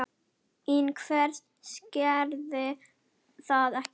En hver gerði það ekki?